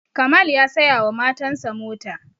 Kamal ya saya wa matan sa mota